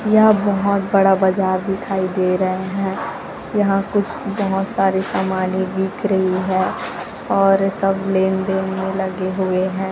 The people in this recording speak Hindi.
यह बहोत बड़ा बाजार दिखाई दे रहे हैं यहां कुछ बहोत सारे सामाने दिख रही है और सब लेनदेन में लगे हुए हैं।